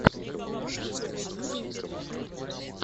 в ютюбе пинкфлэм